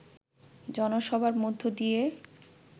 জনসভার মধ্য দিয়ে